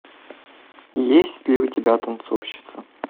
есть ли у тебя танцовщица